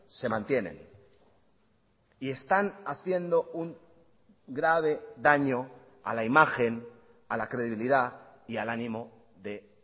se mantienen y están haciendo un grave daño a la imagen a la credibilidad y al ánimo de